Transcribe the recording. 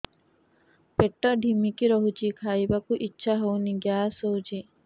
ପେଟ ଢିମିକି ରହୁଛି ଖାଇବାକୁ ଇଛା ହଉନି ଗ୍ୟାସ ହଉଚି